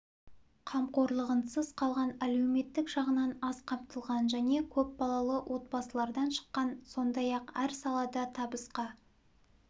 қамқорлығынсыз қалған әлеуметтік жағынан аз қамтылған және көп балалы отбасылардан шыққан сондай-ақ әр салада табысқа